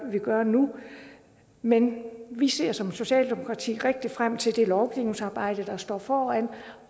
vi gør nu men vi ser som socialdemokrati rigtig meget frem til det lovgivningsarbejde der står foran